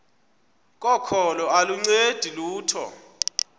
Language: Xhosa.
kokholo aluncedi lutho